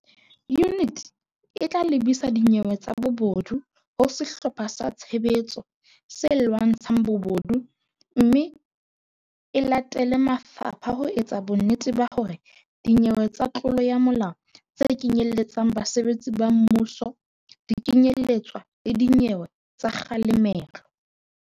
Yuniti e tla lebisa dinyewe tsa bobodu ho Sehlopha sa Tshebetso se Lwantsha ng Bobodu mme e latele mafapha ho etsa bonnete ba hore dinyewe tsa tlolo ya molao tse kenyeletsang basebetsi ba mmuso di kenye letswa le dinyeweng tsa kga lemelo.